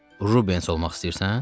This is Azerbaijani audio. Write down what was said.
Rubens olmaq istəyirsən?